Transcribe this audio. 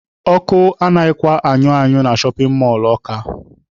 Ọkụ anaghịkwa anyụ anyụ na shọpin mọlụ Ọka.